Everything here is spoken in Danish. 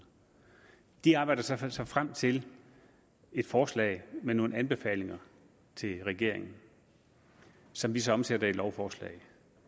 de arbejder sig så frem til et forslag med nogle anbefalinger til regeringen som vi så omsætter til et lovforslag